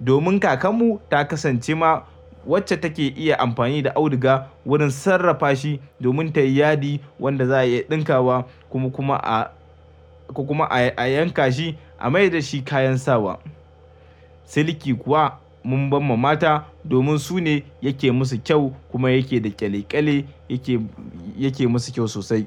domin kakarmu ta kasance ma wacce take iya amfani da auduga wurin sarrafa shi domin ta yi yadi wanda za a iya ɗinka wa kuma, kuma a, kuma a, a yanka shi a mai da shi kayan sawa. Silki kuwa mun ba ma mata domin su ne yake musu kyau kuma yake da ƙyale-ƙyale yake, yake musu kyau sosai.